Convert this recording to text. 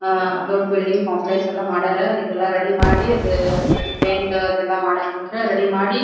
ಆಹ್ಹ್ ದೊಡ್ಡ building complex ಎಲ್ಲ ಮಾಡ್ಯಾರ ಅದಕ್ಕೆಲ್ಲ ರೆಡಿ ಮಾಡಿ ಅದು ಪೈಂಟ್ ಅದೆಲ್ಲ ಮಾಡ್ಬೇಕಂತ ರೆಡಿ ಮಾಡಿ --